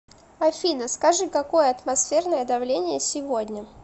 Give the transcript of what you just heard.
афина скажи какое атмосферное давление сегодня